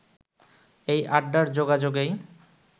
এই আড্ডার যোগাযোগেই